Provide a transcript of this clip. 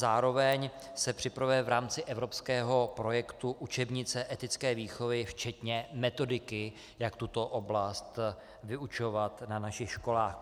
Zároveň se připravuje v rámci evropského projektu učebnice etické výchovy včetně metodiky, jak tuto oblast vyučovat na našich školách.